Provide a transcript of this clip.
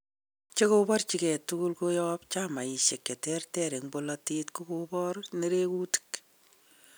Chekoborchike tugul koyob chamaishek cheterter eng bolotet kokobor nerekutik.